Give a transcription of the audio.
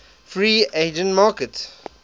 free agent market